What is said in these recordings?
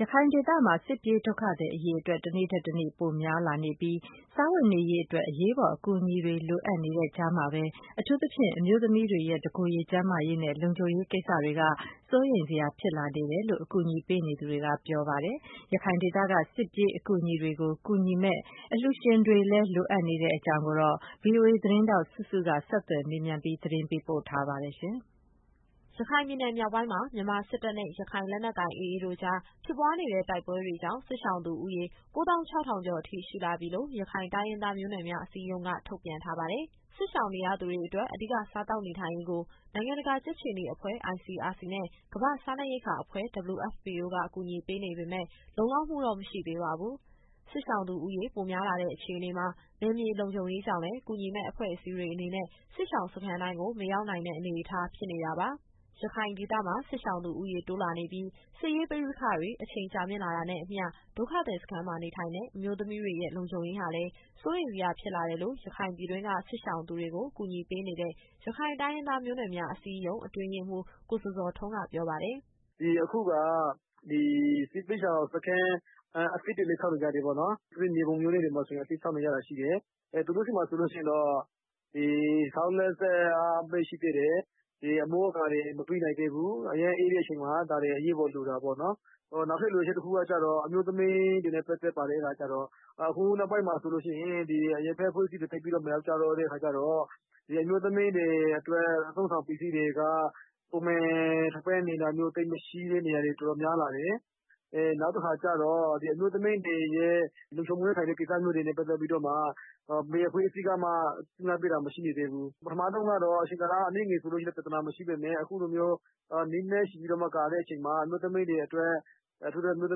ရခိုင်ဒေသမှာ စစ်ပြေးဒုက္ခသည်အရေအတွက် တနေ့ထက်တနေ့ ပိုများလာနေပြီး စားဝတ်နေရေးအတွက် အရေးပေါ်အကူအညီတွေ လိုအပ်နေတဲ့ကြားမှာပဲ အထူးသဖြင့် အမျိုးသမီးတွေရဲ့ တကိုယ်ရေကျန်းမာရေးနဲ့ လုံခြုံရေးကိစ္စတွေက စိုးရိမ်စရာဖြစ်လာနေတယ်လို့ အကူအညီပေးနေသူတွေက ပြောပါတယ်။ ရခိုင်ဒေသက စစ်ပြေးဒုက္ခသည်တွေကို ကူညီမယ့် အလှူရှင်တွေလည်း လိုအပ်နေတဲ့အကြောင်း ဗွီအိုအေသတင်းထောက် စုစုက ဆက်သွယ်မေးမြန်းပြီး သတင်းပေးပို့ထားပါတယ်။ ရခိုင်ပြည်နယ်မြောက်ပိုင်းမှာ မြန်မာစစ်တပ်နဲ့ ရခိုင်လက်နက်ကိုင် AA တို့ကြား ဖြစ်ပွားနေတဲ့ တိုက်ပွဲတွေကြောင့် စစ်ရှောင်သူဦးရေ ၉၆,၀၀၀ ကျော်အထိ ရှိလာပြီလို့ ရခိုင်တိုင်းရင်းသား မျိုးနွယ်များအစည်းအရုံးက ထုတ်ပြန်ထားပါတယ်။ စစ်ရှောင်နေရသူတွေအတွက် အဓိကစားသောက်နေထိုင်ရေးအတွက် နိုင်ငံတကာ ကြက်ခြေနီအဖွဲ့ ICRC နဲ့ ကမ္ဘာ့စားနပ်ရိက္ခာအစီအစဉ် WFP တို့က ကူညီပေးနေပေမယ့် လုံလောက်မှုတော့ မရှိသေးပါဘူး။ စစ်ရှောင်သူဦးရေ ပိုများလာတဲ့အခြေအနေမှာ နယ်မြေလုံခြုံရေးကြောင့်လည်း ကူညီမယ့်အဖွဲ့အစည်းတွေ အနေနဲ့ စစ်ရှောင်စခန်းတိုင်းကို မရောက်နိုင်တဲ့ အနေအထား ဖြစ်နေတာပါ။ ရခိုင်ဒေသမှာ စစ်ရှောင်သူဦးရေတိုးလာနေပြီး၊ စစ်ရေးပဋိပက္ခ အချိန်ကြာမြင့်လာတာနဲ့ အမျှ ဒုက္ခသည်စခန်းမှာနေထိုင်တဲ့ အမျိုးသမီးတွေရဲ့ လုံခြုံရေးဟာလည်း စိုးရိမ်စရာဖြစ်လာတယ်လို့ ရခိုင်ပြည်တွင်းက စစ်ရှောင်သူတွေကို ကူညီပေးနေတဲ့ ရခိုင်တိုင်းရင်းသား မျိုးနွယ်များအစည်းအရုံး အတွင်းရေးမှူး ကိုဇော်ဇော်ထွန်းက ပြောပါတယ်။ “အခုက ဒီစစ်ဘေးရှောင်စခန်း အသစ်တွေလည်း ဆောက်နေကြတယ်ပေါ့နော်။ အထူးသဖြင့် မြေပုံမြို့နယ်ထဲမှာဆိုရင် အသစ်ဆောက်နေတာရှိတယ်။ သူတို့ဆီမှာဆိုလို့ရှိရင်တော့ ဆောက်လက်စပဲရှိသေးတယ်။ အမိုးအကာတွေ မပြီးနိုင်သေးဘူး။ အရမ်းအေးတဲ့အချိန်မှာ ဒါတွေကအရေးပေါ် လိုတာပေါ့နော်။ နောက်ထပ်လိုအပ်ချက် တခုကကျတော့ အမျိုးသမီးတွေနဲ့ ပတ်သက်ပါတယ်။ အခုနောက်ပိုင်းမှာဆိုရင် အရပ်ဘက်အဖွဲ့အစည်းတွေ သိပ်ပြီးတော့မရောက်ကြတော့ အမျိုးသမီးတွေအတွက် အသုံးအဆောင်ပစ္စည်းတွေက ပုံမှန်ထောက်ပံ့နေတာမျိုး သိပ်မရှိတဲ့နေရာတွေ တော်တော်များလာတယ်။ အမျိုးသမီးတွေရဲ့ လုံခြုံမှုနဲ့ဆိုင်တဲ့ ကိစ္စတွေနဲ့ပတ်သက်ပြီးတော့မှ ဘယ်အဖွဲ့အစည်းကမှ ကြပ်မတ်ပေးတာ ရှိမနေသေးဘူး။ ပထမတုန်းကတော့ အချိန်ကာလ အနည်းငယ်ဆိုရင် ပြဿနာမရှိပေမယ့် အခုလိုမျိုး ကာလရှည်ကြာတဲ့အခါမှာ အထူးသဖြင့် အမျိုးသ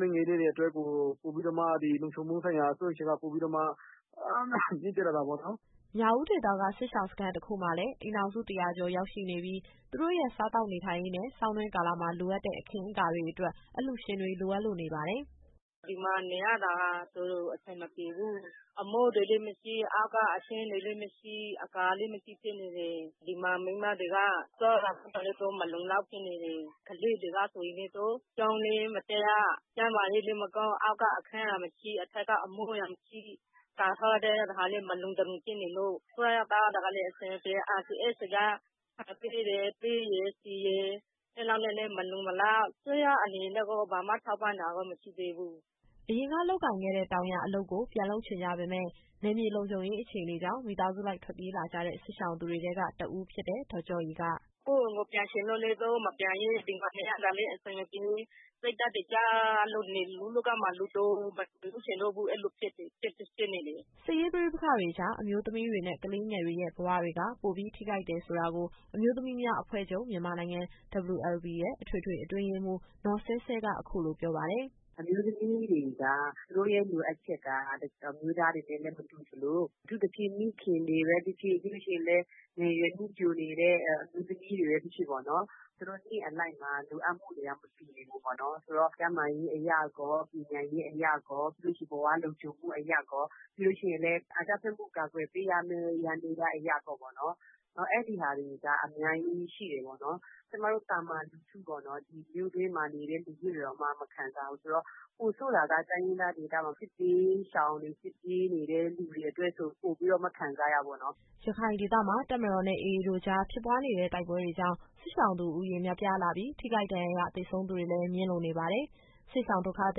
မီးငယ်လေးတွေအတွက် လုံခြုံမှုဆိုင်ရာစိုးရိမ်ချက်က ပိုပြီးတော့မှ မြင့်တက်လာတာပေါ့နော်။” မြောက်ဦးဒေသက စစ်ရှောင်စခန်းတခုမှာလည်း အိမ်ထောင်စု ၁၀၀ ကျော်ရောက်ရှိနေပြီး၊ သူတို့ရဲ့စားသောက်နေထိုင်ရေးနဲ့ ဆောင်းတွင်းကာလမှာ လိုအပ်တဲ့အခင်းအကာတွေအတွက် အလှူရှင်တွေ လိုအပ်လို့နေပါတယ်။ “ဒီမှာနေရတာ တော်တော်အဆင်မပြေဘူး။ အမိုးတွေလည်းမရှိ၊ အောက်ကအခင်းတွေလည်းမရှိ၊ အကာလည်းမရှိဖြစ်နေတယ်။ ဒီမှာ မိန်းမတွေက စားတာသောက်တာလည်း သူတို့ မလုံလောက်ဖြစ်နေတယ်။ ကလေးတွေဆိုရင်လည်း ကျောင်းလည်းမတက်ရ။ ကျန်းမာရေးကလည်း မကောင်း။ အောက်ကအခန်းကမရှိ၊ အထက်က အမိုးအရံမရှိ၊ ကာထားတာလည်း တခါတလေ မလုံတလုံဖြစ်နေလို့။ စားရသောက်ရတာလည်း အဆင်မပြေ။ ICRC က ဆန်ပေးတယ်၊ ပဲရယ်၊ ဆီရယ်။ အဲလောက်နဲ့လည်း မလုံမလောက်။ အစိုးရအနေနဲ့တော့ ဘာမှထောက်ပံ့တာတော့ မရှိသေးဘူး။” အရင်က လုပ်ကိုင်ခဲ့တဲ့ တောင်ယာအလုပ်ကို ပြန်လုပ်ချင်ကြပေမယ့် နယ်မြေလုံခြုံရေး အခြေအနေကြောင့် မိသားစုလိုက်ထွက်ပြေးလာကြတဲ့ စစ်ရှောင်သူတွေထဲက တဦးဖြစ်တဲ့ ဒေါ်ကျော့ရည်က “ကိုယ့်အိမ်ကိုပြန်ချင်လို့လည်း သူတို့မပြန်ရဲ။ ဒီမှာနေရတာလည်း အဆင်မပြေ။ စိတ်ဓာတ်တွေကျလို့ လူ့လောကမှာ လူတောင်မဖြစ်ချင်တော့ဘူး။ အဲလိုဖြစ်နေတယ်။” စစ်ရေးပဋိပက္ခတွေကြား အမျိုးသမီးတွေနဲ့ ကလေးငယ်တွေရဲ့ ဘဝတွေက ပိုပြီး ထိခိုက်တယ်ဆိုတာကို အမျိုးသမီးများအဖွဲ့ချုပ် WLB ရဲ့ အထွေထွေအတွင်းရေးမှူး နော်ဆဲဆဲက အခုလိုပြောပါတယ်။ “အမျိုးသမီးတွေက သူတို့ရဲ့လိုအပ်ချက်က အမျိုးသားတွေနဲ့လည်း မတူသလို၊ အထူးသဖြင့် မိခင်တွေပဲဖြစ်ဖြစ်၊ ပြီးလို့ရှိရင်လည်း ငယ်ရွယ်နုပျိုနေတဲ့ အမျိုးသမီးတွေပဲ ဖြစ်ဖြစ်ပေါ့နော်။ သူတို့နှစ်အလိုက်မှာ လိုအပ်မှုတွေက မတူဘူးပေါ့နော်။ ဆိုတော့ ကျန်းမာရေးအရရော၊ ပညာရေးအရရော၊ ဘဝလုံခြုံမှုအရရော၊ ပြီးလို့ရှိရင်လည်း အကြမ်းဖက်မှုကို ကာကွယ်ပေးရမယ့် ယန္တရားအရရောပေါ့နော်။ အဲဒီဟာတွေက အများကြီးရှိတယ်ပေါ့နော်။ ကျမတို့သာမန်လူထုပေါ့နော်။ ဒီမြို့တွင်းမှာနေတဲ့ လူထုတွေတောင်မှ မခံသာဘူးဆိုတော့ ပိုဆိုးတာက တိုင်းရင်းသားဒေသမှာ စစ်ဘေးရှောင်တွေ၊ စစ်ပြေးနေတဲ့သူတွေအတွက်ဆို ပိုပြီးတော့မှ ခံစားရတာပေါ့နော်။” ရခိုင်ဒေသမှာ တပ်မတော်နဲ့ AA တို့ကြား ဖြစ်ပွားနေတဲ့ တိုက်ပွဲတွေကြောင့် စစ်ရှောင်သူဦးရေ များပြားလာပြီး၊ ထိခိုက်ဒဏ်ရာရ သေဆုံးသူတွေလည်း မြင့်လို့နေပါတယ်။ စစ်ရှောင်ဒုက္ခသ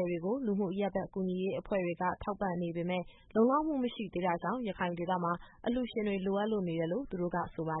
ည်တွေကို လူမှုအရပ်ဘက် ကူညီရေးအဖွဲ့တွေက ထောက်ပံ့နေပေမယ့် လုံလောက်မှုမရှိသေးတာကြောင့် ရခိုင်ဒေသမှာ အလှူရှင်တွေ လိုအပ်လို့နေတယ်လို့ သူတို့ကဆိုပါတယ